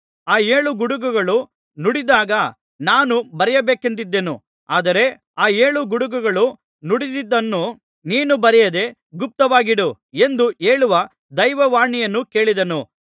ಆ ಏಳು ಗುಡುಗುಗಳು ನುಡಿದಾಗ ನಾನು ಬರೆಯಬೇಕೆಂದಿದ್ದೆನು ಆದರೆ ಆ ಏಳು ಗುಡುಗುಗಳು ನುಡಿದಿದ್ದನ್ನು ನೀನು ಬರೆಯದೆ ಗುಪ್ತವಾಗಿಡು ಎಂದು ಹೇಳುವ ದೈವವಾಣಿಯನ್ನು ಕೇಳಿದೆನು